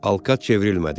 Alkat çevrilmədi.